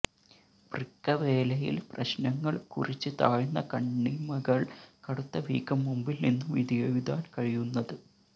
വൃക്ക വേലയിൽ പ്രശ്നങ്ങൾ കുറിച്ച് താഴ്ന്ന കണ്ണിമകൾ കടുത്ത വീക്കം മുമ്പിൽ നിന്നു വിധിയെഴുതാൻ കഴിയുന്നത്